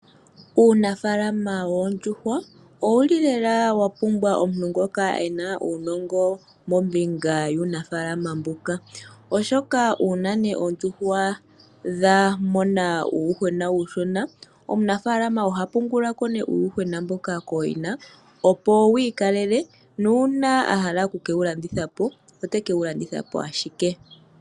Uunafaalama woondjuhwa owu li lela wa pumbwa omuntu ngoka e na uunongo mombinga yuunafalama mbuka, oshoka uuna oondjuhwa dha mona uuyuhwena uushona, omunafaalama oha pangula ko nee uuyuhwena mboka kooyina, opo wi ikalele nuuna a hala oku ke wu landitha po oteke wu landitha po ashike.